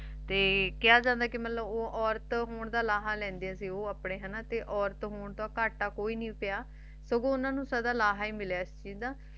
ਤੇ ਕਿਹਾ ਜਾਂਦਾ ਹੈ ਕ ਉਹ ਔਰਤ ਹੋਣ ਦਾ ਲਾਹਮ ਲੈਂਦੇ ਸੀ ਤੇ ਔਰਤ ਹੋਂਦ ਘਾਟਾ ਕੋਈ ਨਹੀਂ ਪਾਯਾ ਬਲਕਿ ਉਨ੍ਹਾਂ ਨੂੰ ਲਾਹਾ ਹੈ ਮਿਲੀਆਂ